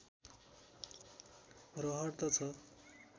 रहर त छ